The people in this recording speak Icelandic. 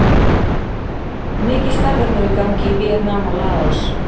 Mikið starf er nú í gangi í Víetnam og Laos.